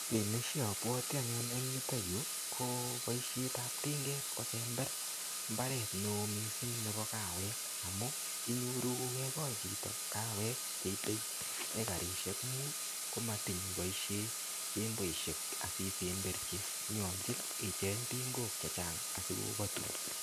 Kiy neshabwoti anyun eng yutoyu, ko boisietap tinget kosember mbaret ne oo missing nebo kawek. Amu, inyoru kekol chito kawek cheitei ekarisiek mut, komatiny iboisie jemboisiek asisemberchi. Nyolchin icheng' tingok chechang asikobatun.